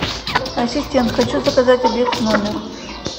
ассистент хочу заказать обед в номер